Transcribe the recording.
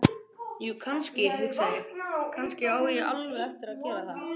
Jú, kannski, hugsa ég: Kannski á ég alveg eftir að gera það.